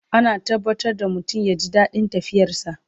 Ana tabbatar da mutum ya ji daɗin tafiyar sa